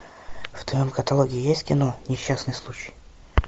в твоем каталоге есть кино несчастный случай